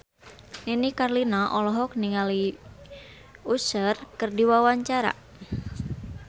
Nini Carlina olohok ningali Usher keur diwawancara